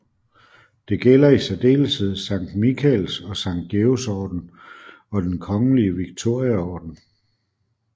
Det gælder i særdeleshed Sankt Mikaels og Sankt Georgs orden og Den kongelige Victoriaorden